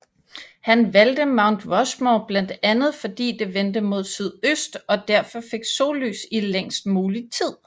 Han valgte Mount Rushmore blandt andet fordi det vendte mod sydøst og derfor fik sollys i længst muligt tid